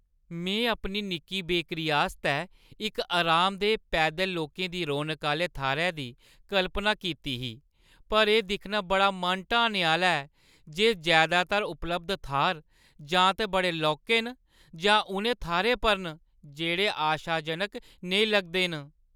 में अपनी निक्की बेकरी आस्तै इक आरामदेह्, पैदल लोकें दी रौनका आह्‌ले थाह्‌रै दी कल्पना कीती ही, पर एह् दिक्खना बड़ा मन ढाने आह्‌ला ऐ जे जैदातर उपलब्ध थाह्‌र जां ते बड़े लौह्के न जां उ'नें थाह्‌रें पर न जेह्ड़े आशाजनक नेईं लगदे न।